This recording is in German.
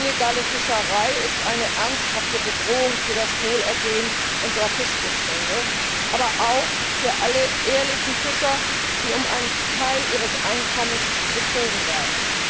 Illegale Fischerei ist eine ernsthafte Bedrohung für das Wohlergehen unserer Fischbestände, aber auch für alle ehrlichen Fischer, die um einen Teil ihres Einkommens betrogen werden.